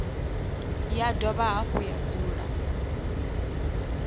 ya dovha hafhu ya dzula